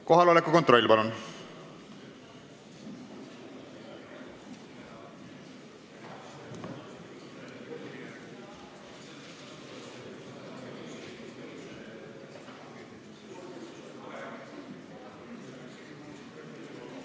Kohaloleku kontroll, palun!